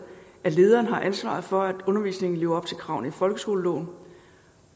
at lederen har ansvaret for at undervisningen lever op til kravene i folkeskoleloven